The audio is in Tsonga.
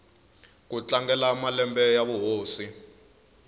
ku tlangela malembe ya vuhosi